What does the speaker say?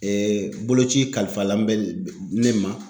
boloci kalifalen bɛ ne ma.